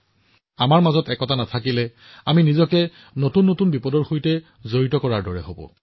যদি আমি ঐক্যবদ্ধ নহও আমি নিজে নিজকে নতুন দুৰ্যোগত ঘেৰি লম